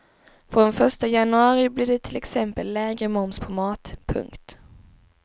Från första januari blir det till exempel lägre moms på mat. punkt